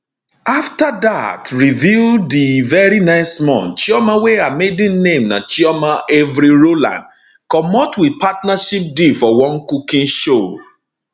afta dat reveal di very next month chioma wey her maiden name na chioma avril rowland comot wit partnership deal for one cooking show